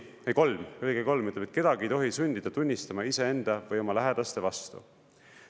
Või kolm, lõige 3 ütleb, et kedagi ei tohi sundida tunnistama iseenda või oma lähedaste vastu.